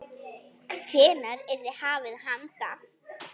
Hvenær yrði hafist handa?